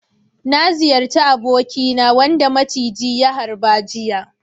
Na ziyarci abokina wanda ya maciji ya harba jiya.